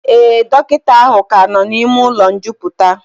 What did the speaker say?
Ee, dọkịta ahụ ka nọ n'ime ụlọ njupụta